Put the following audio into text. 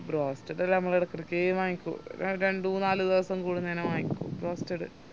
broasted ഞമ്മളെടക്കേടക്കെ വാങ്ങിക്കു രണ്ടു നാല് ദിവസം കൂടുന്നേരം വാങ്ങിക്കും broasted